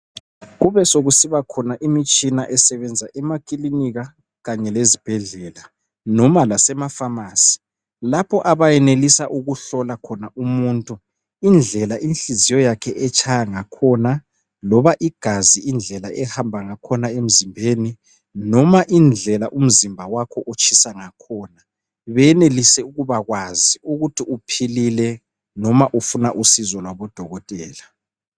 Kubesokusiba khona imitshina esebenza emakilinika kanye lezibhedlela noma lasemapharmacy lapho abayenelisa ukuhlola khona umuntu indlela inhliziyo yakhe etshaya ngakhona loba igazi indlela elihamba ngakhona emzimbeni noma indlela umzimba wakho otshisa ngakhona benelise ukubakwazi ukuthi uphilile noma ufuna usizo lwabodokotela.